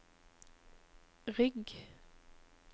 rygg